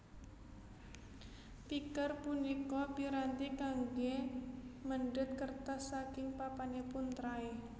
Picker punika piranti kanggé mendhet kertas saking papanipun tray